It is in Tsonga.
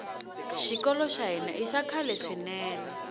xikolo xa hina ixa khale swinene